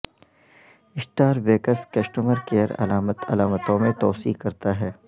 star بیککس customer care علامت علامتوں میں توسیع کرتا ہے